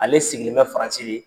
Ale sigilen bɛ Faransi de.